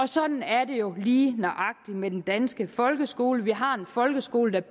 sådan er det jo lige nøjagtig med den danske folkeskole vi har en folkeskole der